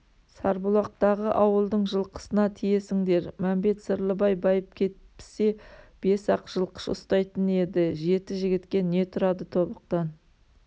сарбұлақтағы ауылдың жылқысына тиесіңдер мәмбет-сырлыбай байып кетпсе бес-ақ жылқышы ұстайтын еді жеті жігітке не тұрады тобықтан